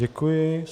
Děkuji.